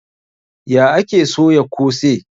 Ya ake soya kose?